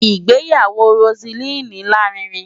Ìgbéyàwó Roseline lárinrin.